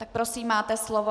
Tak prosím, máte slovo.